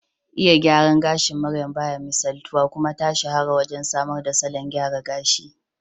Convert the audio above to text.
Iya gyaran gashin maryam baya misaltuwa, kuma ta shahara wajen samar da salon gyara gashi